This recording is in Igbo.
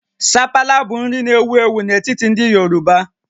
Sapala bụ nri na-ewu ewu n'etiti ndị Yoruba